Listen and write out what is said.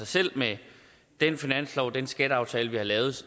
selv med den finanslov den skatteaftale vi har lavet